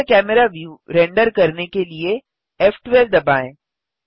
सक्रिय camera view render करने के लिए फ़12 दबाएँ